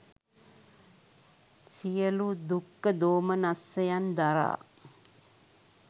සියලු දුක්ඛ දෝමනස්සයන් දරා